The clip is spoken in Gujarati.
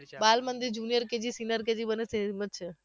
બાળમંદિર junior KG senior KG બંને same જ છે